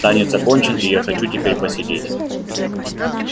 танец окончен и я хочу теперь посидеть